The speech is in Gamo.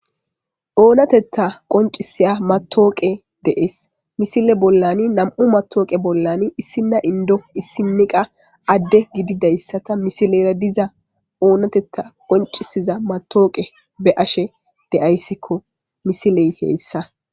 Oonatetta qoncisiya matooqe dees misile bollani nam7u matooqe bollan issina indo issiniqa adde gididayssata misilera diza oonatetta qoncisiza matooqe be ashe de ayssikko misiley heyssa.